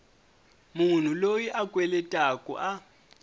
munhu loyi a kweletaku a